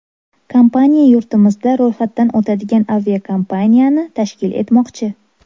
Kompaniya yurtimizda ro‘yxatdan o‘tadigan aviakompaniyani tashkil etmoqchi.